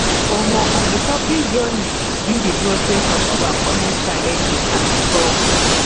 um recovery journey be di process of overcoming challenges and struggles